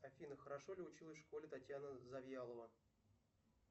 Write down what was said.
афина хорошо ли училась в школе татьяна завьялова